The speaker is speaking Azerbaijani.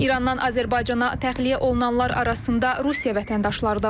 İrandan Azərbaycana təxliyə olunanlar arasında Rusiya vətəndaşları da var.